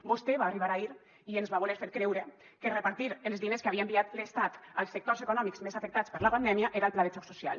vostè va arribar ahir i ens va voler fer creure que repartir els diners que havia enviat l’estat als sectors econòmics més afectats per la pandèmia era el pla de xoc social